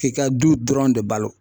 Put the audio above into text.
Ki ka du dɔrɔn de balo.